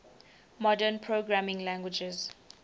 modern programming languages